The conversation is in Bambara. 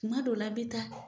Kuma dɔw la a be taa